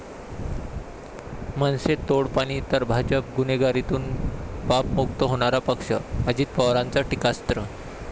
मनसे तोडपाणी तर भाजप गुन्हेगारीतून पापमुक्त होणारा पक्ष, अजित पवारांचं टीकास्त्र